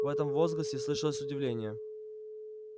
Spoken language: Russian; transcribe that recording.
в этом возгласе слышалось удивление